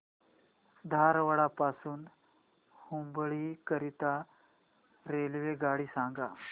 धारवाड पासून हुबळी करीता रेल्वेगाडी सांगा